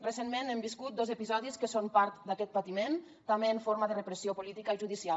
recentment hem viscut dos episodis que són part d’aquest patiment també en forma de repressió política i judicial